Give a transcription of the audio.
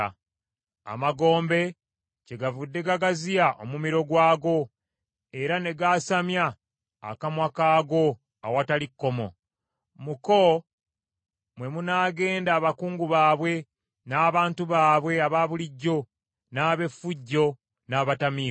Amagombe kyegavudde gagaziya omumiro gwago, era ne gaasamya akamwa kaago awatali kkomo. Mu ko mwe munaagenda abakungu baabwe n’abantu baabwe abaabulijjo, n’ab’effujjo n’abatamiivu.